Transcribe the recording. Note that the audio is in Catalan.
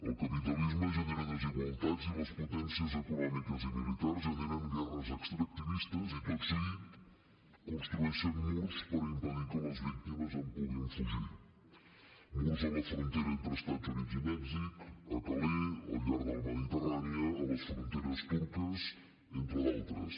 el capitalisme genera desigualtats i les potències econòmiques i militars generen guerres extractivistes i tot seguit construeixen murs per impedir que les víctimes en puguin fugir murs a la frontera entre els estats units i mèxic a calais al llarg de la mediterrània a les fronteres turques entre d’altres